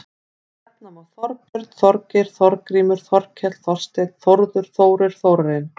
Nefna má Þorbjörn, Þorgeir, Þorgrímur, Þorkell, Þorsteinn, Þórður, Þórir, Þórarinn.